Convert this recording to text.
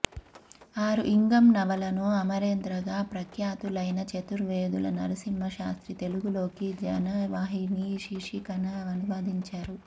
యారుఇంగం నవలను అమరేంద్రగా ప్రఖ్యాతులైన చతుర్వేదుల నరసింహశాస్త్రి తెలుగులోకి జనవాహిని శీర్షికన అనువదించారు